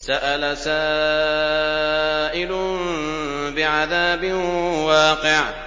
سَأَلَ سَائِلٌ بِعَذَابٍ وَاقِعٍ